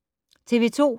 TV 2